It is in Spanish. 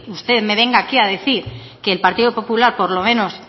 usted me venga aquí a decir que el partido popular por lo menos